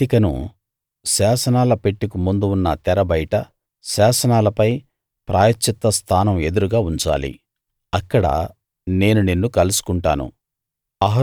వేదికను శాసనాల పెట్టెకు ముందు ఉన్న తెర బయట శాసనాలపై ప్రాయశ్చిత్త స్థానం ఎదురుగా ఉంచాలి అక్కడ నేను నిన్ను కలుసుకుంటాను